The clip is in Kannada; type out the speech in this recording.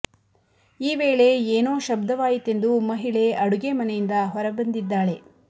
ಈ ವೇಳೆ ಏನೋ ಶಬ್ಧವಾಯಿತೆಂದು ಮಹಿಳೆ ಅಡುಗೆ ಮನೆಯಿಂದ ಹೊರ ಬಂದಿದ್ದಾಳೆ